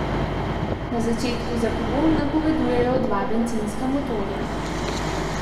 Na začetku za pogon napovedujejo dva bencinska motorja.